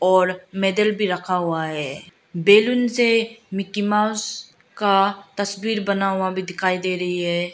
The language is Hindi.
और मेडल भी रखा हुआ है बैलून से मिकी माउस का तस्वीर बना हुआ भी दिखाई दे रही है।